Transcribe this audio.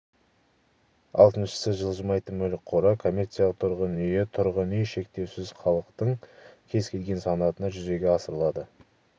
алтыншысы жылжымайтын мүлік қоры коммерциялық тұрғын үйі тұрғын үй шектеусіз халықтың кез келген санатына жүзеге асырылады